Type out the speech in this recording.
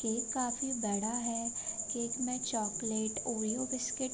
cake काफी बड़ा है केक में चॉकलेट ओरिओ बिस्किट --